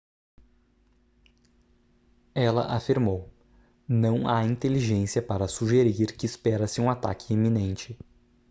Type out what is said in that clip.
ela afirmou não há inteligência para sugerir que espera-se um ataque iminente